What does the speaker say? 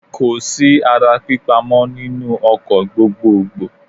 Kò sí ara pípa mọ́ nínú ọkọ̀ gbogboògbò.